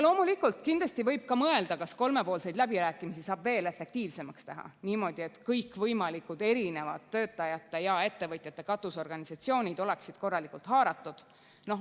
Loomulikult, kindlasti võib mõelda, kas kolmepoolseid läbirääkimisi saab veel efektiivsemaks teha niimoodi, et kõikvõimalikud töötajate ja ettevõtjate katusorganisatsioonid oleksid korralikult haaratud.